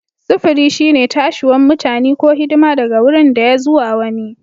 Sufuri shine tashiwan mutani ko hidima daga wurin daya zuwa wani.